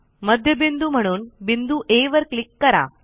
मध्यबिंदू म्हणून बिंदू आ वर क्लिक करा